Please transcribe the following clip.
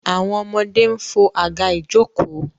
àwọn ọmọdé ń fo àga ìjokòó.